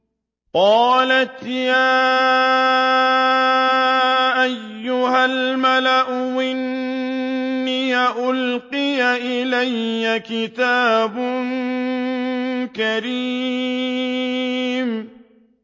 قَالَتْ يَا أَيُّهَا الْمَلَأُ إِنِّي أُلْقِيَ إِلَيَّ كِتَابٌ كَرِيمٌ